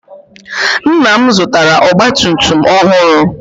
Nna m zụtara ọgba tum tum ọhụrụ.